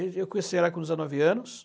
Eu conheci ela com dezenove anos.